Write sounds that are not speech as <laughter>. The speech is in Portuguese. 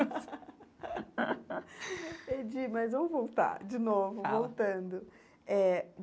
<laughs> Entendi, mas vamos voltar, de novo, fala voltando eh.